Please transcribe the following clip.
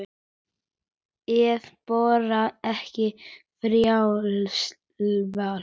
Eða bara ekki, frjálst val.